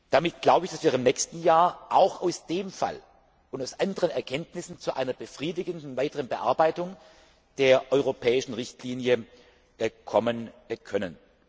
Damit glaube ich, dass wir im nächsten Jahr auch aus dem Fall und aus anderen Erkenntnissen zu einer befriedigenden weiteren Bearbeitung der europäischen Richtlinie kommen können.